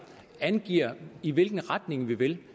angiver i hvilken retning vi vil